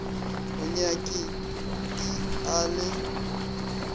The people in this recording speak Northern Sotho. go nyaki i a le